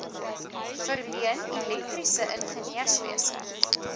verleen elektriese ingenieurswese